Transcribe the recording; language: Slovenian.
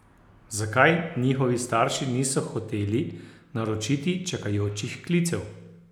Zakaj njegovi starši niso hoteli naročiti čakajočih klicev?